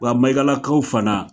Wa Mayigalakaw fana